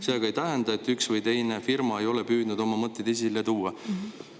See ei tähenda aga, et üks või teine firma ei ole püüdnud oma mõtteid esile tuua.